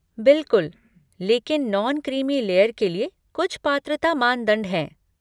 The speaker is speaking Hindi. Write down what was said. बिल्कुल! लेकिन नॉन क्रीमी लेयर के लिए कुछ पात्रता मानदंड हैं।